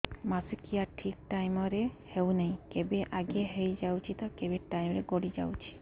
ମାସିକିଆ ଠିକ ଟାଇମ ରେ ହେଉନାହଁ କେବେ ଆଗେ ହେଇଯାଉଛି ତ କେବେ ଟାଇମ ଗଡି ଯାଉଛି